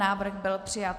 Návrh byl přijat.